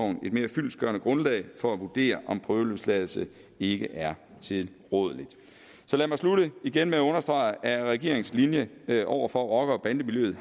mere fyldestgørende grundlag for at vurdere om prøveløsladelse ikke er tilrådeligt så lad mig slutte igen at understrege at regeringens linje over for rocker og bandemiljøet